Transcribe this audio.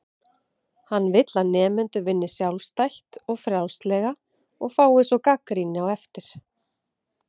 Hann vill að nemendur vinni sjálfstætt og frjálslega og fái svo gagnrýni á eftir.